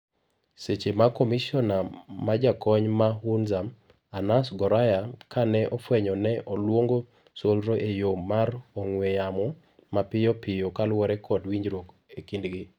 seche ma komisona majakony ma Hunza ,Anas Goraya ka ne ofwenyo ne oluongo solro eyo mar ongwe yamo mapiyo piyo kaluwore kod winjruok ekidgi